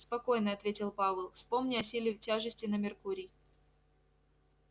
спокойно ответил пауэлл вспомни о силе тяжести на меркурий